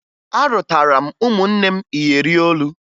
Arụtara m ụmụnne m iyeri olu